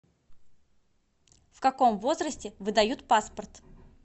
в каком возрасте выдают паспорт